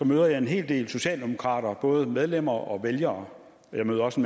møder jeg en hel del socialdemokrater både medlemmer og vælgere og jeg møder også